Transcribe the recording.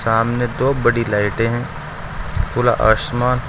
सामने दो बड़ी लाइटें हैं खुला आसमान--